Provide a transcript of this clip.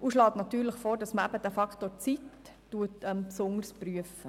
und schlägt natürlich vor, dass man den Faktor Zeit besonders prüft.